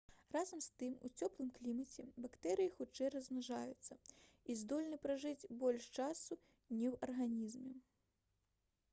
разам з тым у цёплым клімаце бактэрыі хутчэй размнажаюцца і здольны пражыць больш часу не ў арганізме